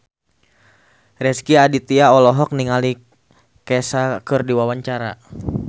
Rezky Aditya olohok ningali Kesha keur diwawancara